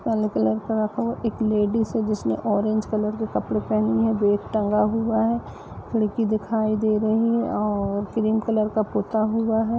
काला कलर का रखा हुआ है एक लेडिस है जिसने ऑरेंज कलर के कपडे पहेने है बेग टगा हुआ है खिड़की दिखाई दे रही है और क्रीम कलर हुआ है।